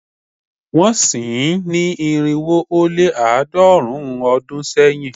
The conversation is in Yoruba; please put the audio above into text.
Wọ́n sin ín ní irinwo ó lé àádọ́rùn-ún ọdún sẹ́yìn